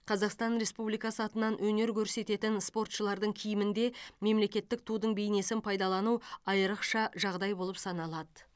қазақстан республикасы атынан өнер көрсететін спортшылардың киімінде мемлекеттік тудың бейнесін пайдалану айрықша жағдай болып саналады